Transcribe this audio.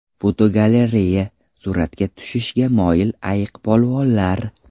Fotogalereya: Suratga tushishga moyil ayiqpolvonlar.